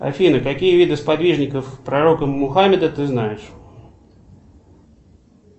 афина какие виды сподвижников пророка мухаммеда ты знаешь